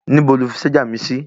Níbo lo fi ṣájà mi sí?